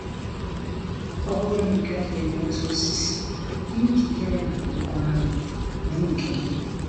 Ọ bụrụ na ị gaghị enweta osisi dị njikere maka ịkwaghari, mee nke gị!